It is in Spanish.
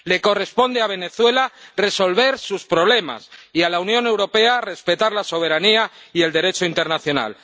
Le corresponde a Venezuela resolver sus problemas, y a la Unión Europea, respetar la soberanía y el Derecho internacional.